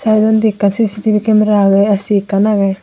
te undi ekkan cctv camera agey ac ekkan agey.